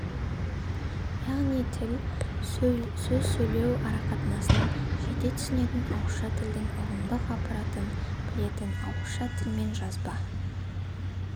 яғни тіл сөз сөйлеу арақатынасын жете түсінетін ауызша тілдің ұғымдық аппаратын білетін ауызша тіл мен жазба